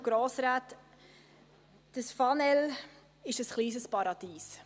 Das Fanel ist ein kleines Paradies.